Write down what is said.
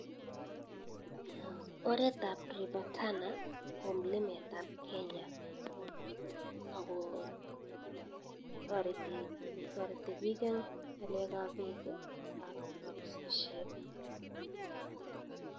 Oret ab River Tana ko mlimet ab Kenya ako tariti pik en ng'alek ak pek ak kabisishet.